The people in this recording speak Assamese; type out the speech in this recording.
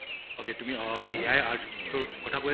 okay তুমি AI art টোৰ কথা